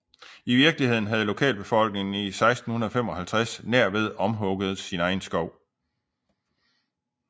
I virkeligheden havde lokalbefolkningen i 1655 nærved omhugget sin egen skov